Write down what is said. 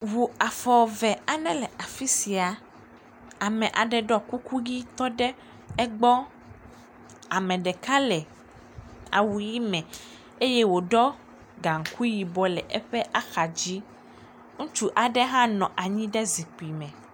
Ŋu afɔ eve aɖe le afi sia, ame ɖɔ kuku tɔ ɖe egbɔ, ame ɖeka le awu ʋɛ̃ eye wòɖɔ gaŋkui yibɔ le eƒe axadzi, ŋutsu aɖe hã nɔ anyi ɖe zikpuio me.